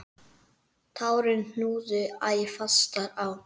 Tárin knúðu æ fastar á.